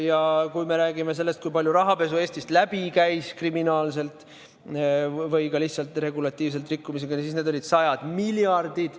Ja kui me räägime sellest, kui palju pestud raha Eestist läbi käis kas kriminaalselt või ka lihtsalt regulatsioonide rikkumisega, siis need olid sajad miljardid.